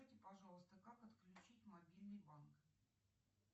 пожалуйста как отключить мобильный банк